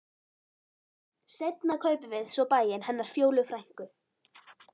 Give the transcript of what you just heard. Seinna kaupum við svo bæinn hennar Fjólu frænku.